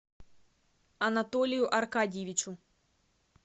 анатолию аркадьевичу